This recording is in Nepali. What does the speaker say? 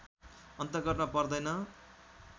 अन्तर्गतमा पर्दैन